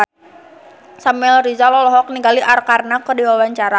Samuel Rizal olohok ningali Arkarna keur diwawancara